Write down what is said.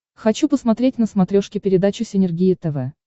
хочу посмотреть на смотрешке передачу синергия тв